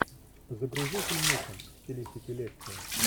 загрузи фильмуху в стилистике лекции